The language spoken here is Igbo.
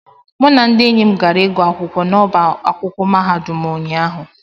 mụ na ndị enyi m gara ịgụ akwụkwọ n'ọba akwụkwọ mahadum ụnyahụ